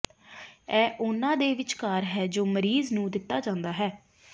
ਇਹ ਉਨ੍ਹਾਂ ਦੇ ਵਿਚਕਾਰ ਹੈ ਜੋ ਮਰੀਜ਼ ਨੂੰ ਦਿੱਤਾ ਜਾਂਦਾ ਹੈ